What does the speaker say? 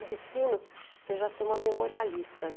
O destino seja ser uma memorialista, né.